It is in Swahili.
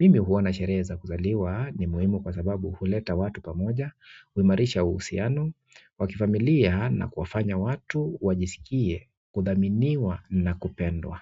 mimi huona shereheza kuzaliwa ni muhimu kwa sababu huleta watu pamoja, huimarisha uhusiano, wa kifamilia na kufanya watu, wajisikie, kuthaminiwa na kupendwa.